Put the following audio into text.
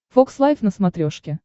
фокс лайф на смотрешке